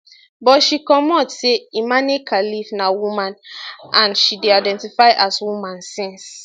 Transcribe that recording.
butshe comot say she imane khelif na woman and she dey identify as woman since